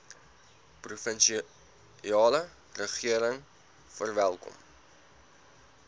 provinsiale regering verwelkom